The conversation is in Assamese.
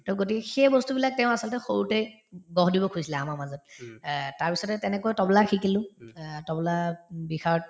to গতিকে সেই বস্তুবিলাক তেওঁ আচলতে সৰুতে গঢ় দিব খুজিছিলে আমাৰ মাজত অ তাৰপিছতে তেনেকৈ তবলা শিকিলো অ তবলাত উম বিষাৰদ